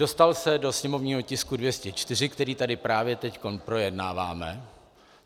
Dostal se do sněmovního tisku 204, který tady právě teď projednáváme.